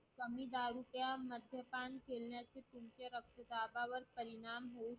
कमी दाब त्या मद्यपान केल्याने तुमच्या रक्तदाबावर परिणाम